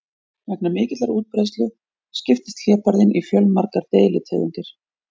Vegna mikillar útbreiðslu skiptist hlébarðinn í fjölmargar deilitegundir.